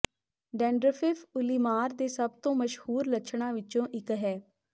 ਡੈਂਡਰਫਿਫ ਉੱਲੀਮਾਰ ਦੇ ਸਭ ਤੋਂ ਮਸ਼ਹੂਰ ਲੱਛਣਾਂ ਵਿੱਚੋਂ ਇਕ ਹੈ